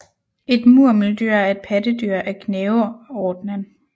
Et murmeldyr er et pattedyr af gnaverordenen